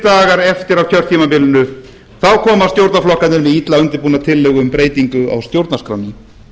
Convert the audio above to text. dagar eftir af kjörtímabilinu koma stjórnarflokkarnir með illa undirbúna tillögu um breytingu á stjórnarskránni